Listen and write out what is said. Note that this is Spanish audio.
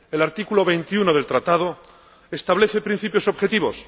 El artículo 21 del Tratado establece principios objetivos.